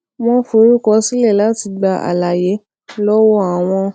wón forúkọ sílè láti gba àlàyé lówó àwọn